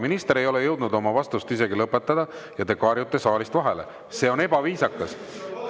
Minister ei ole jõudnud oma vastust isegi lõpetada ja te karjute saalist vahele, see on ebaviisakas.